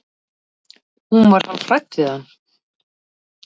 Hún var hálf hrædd við hann.